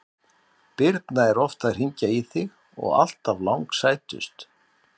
Birna er oft að hringja í þig og alltaf langsætust!